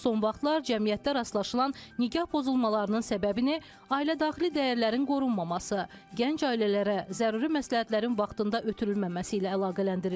Son vaxtlar cəmiyyətdə rastlaşılan nikah pozulmalarının səbəbini ailədaxili dəyərlərin qorunmaması, gənc ailələrə zəruri məsləhətlərin vaxtında ötürülməməsi ilə əlaqələndirirlər.